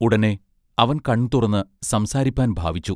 ഉടനെ അവൻ കൺതുറന്ന് സംസാരിപ്പാൻ ഭാവിച്ചു.